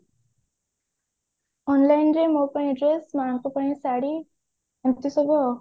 online ରେ ମୋ ପାଇଁ dress ମାଙ୍କ ପାଇଁ ଶାଢୀ ଏମତି ସବୁ